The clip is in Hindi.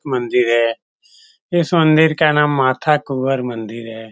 मंदिर है इस मंदिर का नाम माता कुँवर मंदिर है ।